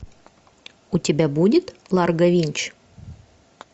у тебя будет ларго винч